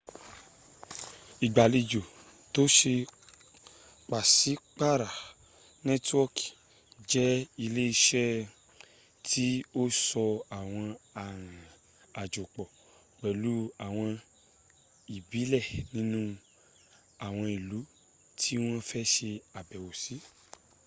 ìgbàlejò tó ṣe pàṣípàra nẹ́tíwọkì jẹ ilé iṣẹ́ tí o so àwọn arinrìn àjò pọ̀ pẹ̀lú àwọn ìbílẹ̀ nínu àwọn ìlú tí wọ́n fẹ́ ṣe àbẹ̀wò sí